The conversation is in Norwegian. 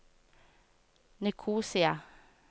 Nikosia